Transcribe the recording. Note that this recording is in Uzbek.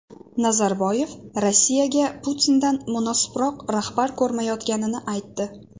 Nazarboyev Rossiyaga Putindan munosibroq rahbar ko‘rmayotganini aytdi.